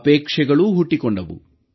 ಅಪೇಕ್ಷೆಯೂ ಹುಟ್ಟಿಕೊಂಡವು